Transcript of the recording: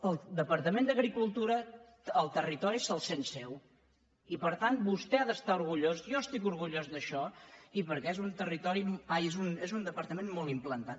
el departament d’agricultura el territori se’l sent seu i per tant vostè ha d’estar orgullós jo n’estic orgullós d’això i perquè és un departament molt implantat